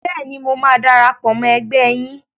Bẹ́ẹ̀ni, mo máa darapọ̀ mọ́ ẹgbẹ́ yín.